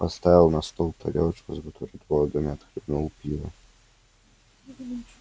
поставил на стол тарелочку с бутербродами отхлебнул пива